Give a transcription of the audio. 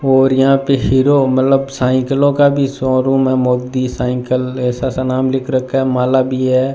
और यहां पे हीरो मतलब साइकिलों का भी शोरूम है मोती साइकिल ऐसा सा नाम लिख रखा है माला भी है।